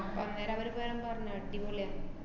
അപ്പ~ അന്നേരം അവര് പറഞ്ഞെ, അടിപൊളിയ~